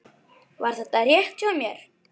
Var þetta rétt hjá mér?